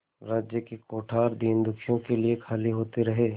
राज्य के कोठार दीनदुखियों के लिए खाली होते रहे